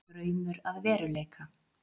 Draumur að veruleika